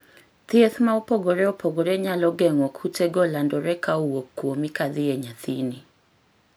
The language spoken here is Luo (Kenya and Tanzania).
Thieth ma opogore opogore nyalo geng'o kute go landore ka owuok kuomi ka dhi e nyathini